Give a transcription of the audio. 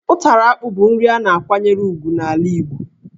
Ụtara akpụ bụ nri a na-akwanyere ugwu n'ala Igbo,